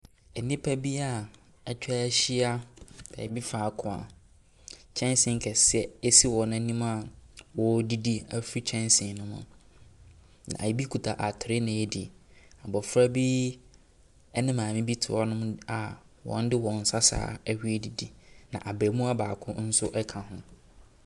Nnipa bi a atwa ahyia baabi faako a kyɛnsee kɛseɛ si wɔn anim a wɔredidi afi kyɛnsee no mu. Na ebi kuta atere na ɛredi. Abofra bi ne maame bi te hɔnom a wɔde wɔn nsa saa ara na ɔredidi na abaamuwa baako nso ka ho.